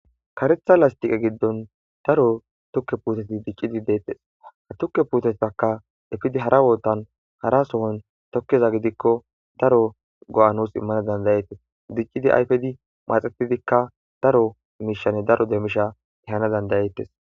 Karetha lastiqe giddon daro tokke puuteti diccidi deettes ha tukke puutatakka efidi hara ootan hara sohon tokkeza gidikko daro go7anos immana dandayeettes diccidi ayfedi maaxetidikka daro miishanne daro deemisha hana dandayettes